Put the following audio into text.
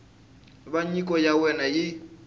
va nyiko ya wena yi